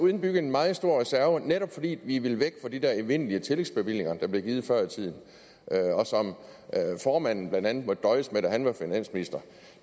indbygget en meget stor reserve netop fordi vi ville væk fra de der evindelige tillægsbevillinger der blev givet før i tiden og som formanden blandt andet måtte døje med da han var finansminister